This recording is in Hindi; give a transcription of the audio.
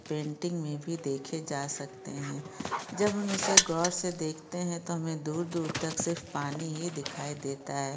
पेंटिंग मे भी देखे जा सकते है जब हम इसे गौर से देखते है तो हमे दूर दूर तक सिर्फ पानी ही दिखाई देता है।